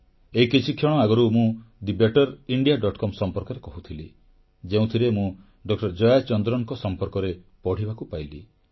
ଏହି କିଛିକ୍ଷଣ ଆଗରୁ ମୁଁ thebetterindiacom ସମ୍ପର୍କରେ କହୁଥିଲି ଯେଉଁଥିରେ ମୁଁ ଡକ୍ଟର ଜୟାଚନ୍ଦ୍ରନଙ୍କ ସମ୍ପର୍କରେ ପଢ଼ିବାକୁ ପାଇଲି